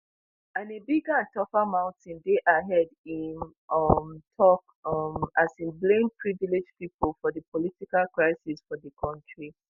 and a bigger and tougher mountain dey ahead im um tok um as im blame privileged pipo for di political crisis for di kontri